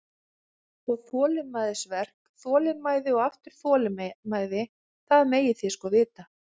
Og þolinmæðisverk, þolinmæði og aftur þolinmæði, það megið þið sko vita.